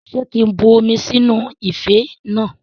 Ṣé kí n bu omi sínú ife náà?